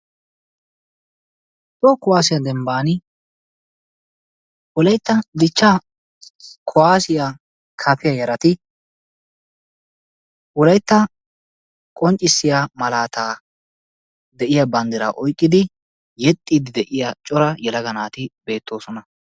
Toho kuwaasiyaa dembbaan wolaytta dichchaa tohuwaa kuwaasiyaa kaafiyaa yarati wolaytta qonccisiyaa malaataara de'iyaa bandiraa oyqqidi yeexxidi de'iyaa cora yelaga naati beettoosona.